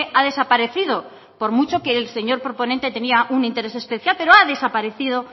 ha desaparecido por mucho que el señor proponente tenía un interés especial pero ha desaparecido